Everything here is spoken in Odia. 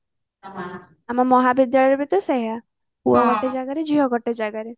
ଆମ ମହାବିଦ୍ୟାଳୟରେ ବି ତ ସେଇଆ ପୁଅ ଗୋଟେ ଜାଗାରେ ଝିଅ ଗୋଟେ ଜାଗାରେ